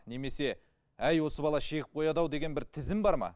немесе әй осы бала шегіп қояды ау деген бір тізім бар ма